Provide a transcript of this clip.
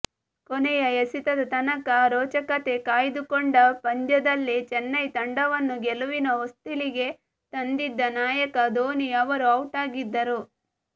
ಕೊನೆಯ ಎಸೆತದ ತನಕ ರೋಚಕತೆ ಕಾಯ್ದುಕೊಂಡ ಪಂದ್ಯದಲ್ಲಿ ಚೆನ್ನೈ ತಂಡವನ್ನು ಗೆಲುವಿನ ಹೊಸ್ತಿಲಿಗೆ ತಂದಿದ್ದಾ ನಾಯಕ ಧೋನಿ ಅವರು ಔಟಾಗಿದ್ದರು